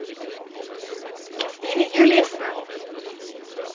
Kristine Juliussen